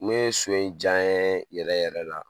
Ne so in diya n yee yɛrɛ yɛrɛ la